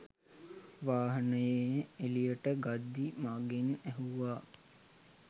වාහනේ එළියට ගද්දි මගෙන් ඇහුවා